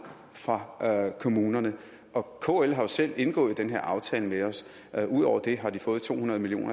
fra kommunerne kl har jo selv indgået den her aftale med os ud over det har de fået to hundrede million